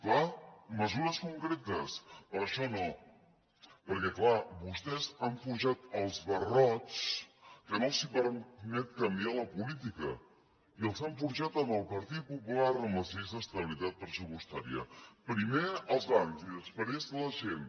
clar mesures concretes però això no perquè clar vostès han forjat els barrots que no els permeten canviar la política i els han forjat amb el partit popular amb les lleis d’estabilitat pressupostària primer els bancs i després la gent